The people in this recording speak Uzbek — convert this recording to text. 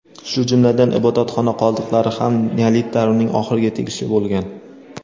shu jumladan ibodatxona qoldiqlari ham neolit davrining oxiriga tegishli bo‘lgan.